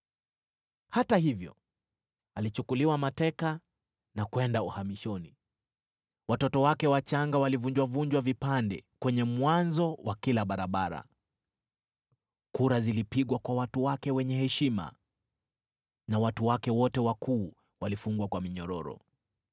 Hata hivyo alichukuliwa mateka na kwenda uhamishoni. Watoto wake wachanga walivunjwa vunjwa vipande kwenye mwanzo wa kila barabara. Kura zilipigwa kwa watu wake wenye heshima, na watu wake wote wakuu walifungwa kwa minyororo.